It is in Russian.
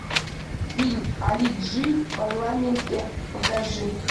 фильм али джи в парламенте покажи